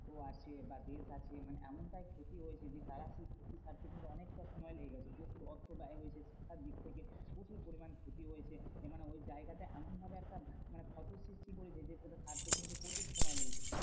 আছে বা দেশ আছে মানে এমনটাই ক্ষতি হয়েছে যে, তারা সেই ক্ষতি সারতে কিন্তু অনেকটা সময় লেগে গেছে। প্রচুর অর্থ ব্যয় হয়েছে শিক্ষার দিক থেকে। প্রচুর পরিমান ক্ষতি হয়েছে। মানে ওই জায়গাটা এমন ভাবে একটা মানে ক্ষত সৃষ্টি করেছে যে সেটা সারতে কিন্তু প্রচুর সময় লেগেছে।